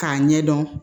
K'a ɲɛdɔn